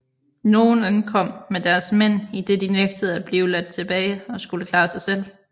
Nogle ankom med deres mænd idet de nægtede at blive ladt tilbage og skulle klare sig selv